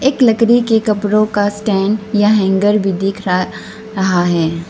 एक लकड़ी के कपड़ों का स्टैंड या हैंगर भी दिख रहा रहा है।